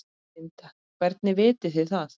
Linda: Hvernig vitið þið það?